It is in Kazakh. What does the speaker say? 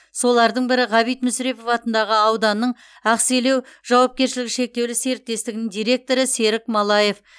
солардың бірі ғабит мүсірепов атындағы ауданның ақселеу жауапкершілігі шектеулі серіктестігінің директоры серік малаев